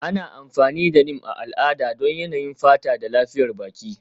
Ana amfani da Neem a al'ada don yanayin fata da lafiyar baki.